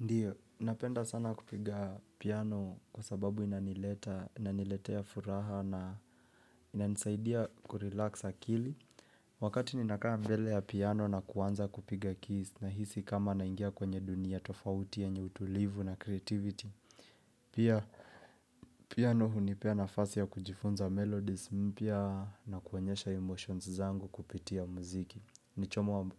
Ndiyo, napenda sana kupiga piano kwa sababu inaniletea furaha na ina nisaidia kurelax akili. Wakati ninakaa mbele ya piano na kuanza kupiga keys na hisi kama naingia kwenye dunia tofauti yenye utulivu na creativity. Pia piano hunipea nafasi ya kujifunza melodies mpya na kuonyesha emotions zangu kupitia muziki.